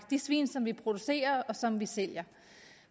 de svin som vi producerer og som vi sælger